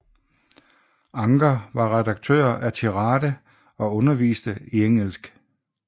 Anker var redaktør af Tirade og underviste i engelsk